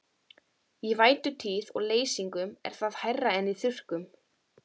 Í vætutíð og leysingum er það hærra en í þurrkum.